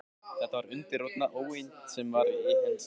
Þetta var undirrótin að óyndi því, sem á hann sótti.